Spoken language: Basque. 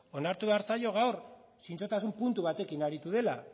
onartu behar zaio gaur zintzotasun puntu batekin aritu dela